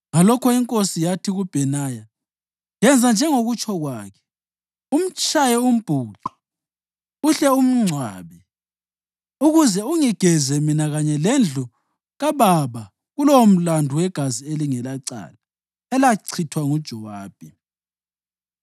Ngalokho inkosi yathi kuBhenaya, “Yenza njengokutsho kwakhe. Umtshaye umbhuqe, uhle umngcwabe, ukuze ungigeze mina kanye lendlu kababa kulowomlandu wegazi elingelacala elachithwa nguJowabi.